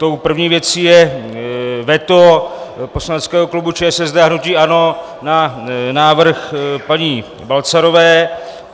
Tou první věcí je veto poslaneckého klubu ČSSD a hnutí ANO na návrh paní Balcarové.